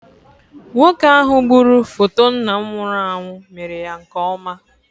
Nwoke ahụ gburu foto nna m nwụrụ anwụ mere ya nke ọma.